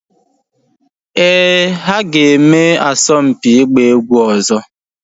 Ee, ha ga-eme asọmpi ịgba egwu ọzọ